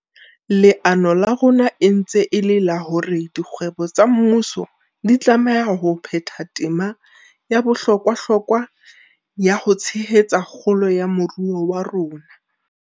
Leano la rona e ntse e le la hore dikgwebo tsa mmuso di tlameha ho phetha tema ya bohlokwahlokwa ya ho tshehetsa kgolo ya moruo wa rona.